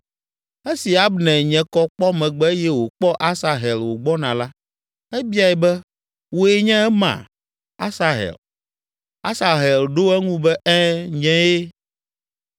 Esi Abner nye kɔ kpɔ megbe eye wòkpɔ Asahel wògbɔna la, ebiae be, “Wòe nye ema, Asahel?” Asahel ɖo eŋu be, “Ɛ̃, nyee!”